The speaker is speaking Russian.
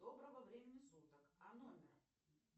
доброго времени суток а номер